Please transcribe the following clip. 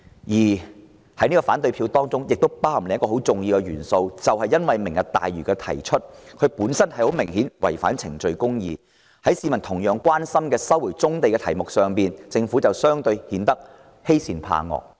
我們投下反對票還基於另一重要原因，就是政府提出"明日大嶼"的方式明顯違反程序公義，在市民同樣關心的收回棕地議題上，政府相對顯得欺善怕惡。